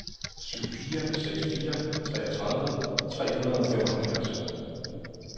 syv fire seks fire treogtredive tre hundrede og femoghalvfjerds